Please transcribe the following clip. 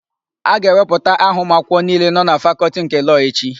A ga-ewepụta aha ụmụakwụkwọ niile nọ na Fakọltị nke Lọọ echi.